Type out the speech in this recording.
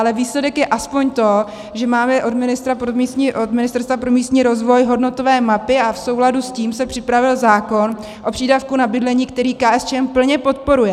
Ale výsledek je aspoň to, že máme od Ministerstva pro místní rozvoj hodnotové mapy a v souladu s tím se připravil zákon o přídavku na bydlení, který KSČM plně podporuje.